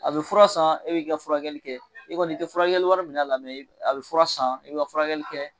A bɛ fura san e b'i ka furakɛli kɛ i kɔni i tɛ furakɛliwari minɛ a la a bɛ fura san i bi ka furakɛli kɛ.